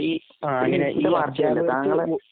അപ്പോ ഈ അധ്യാപകർക്ക്.